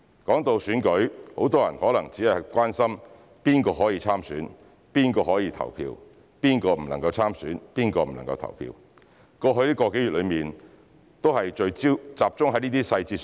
談到選舉，很多人可能只會關心誰可以參選、誰可以投票，誰不能參選、誰不能投票，過去個多月的討論都集中在這些細節。